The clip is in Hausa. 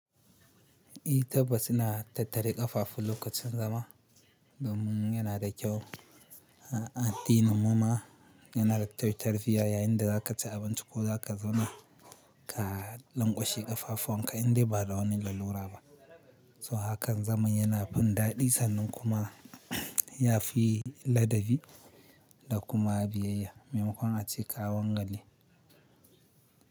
I tabas ina tattare ƙafafu lokacin zama domin yana da kyau. A addinin mu ma yana da tar tarbiyya yayinda za ka ci abinci ko za ka zauna ka lanƙwashe ƙafafuwanka indai ba da wani lalura ba. So hakan zaman yana fin daɗi sannan kuma ya fi ladabi da kuma biyayya maimakon a ce ka wangale.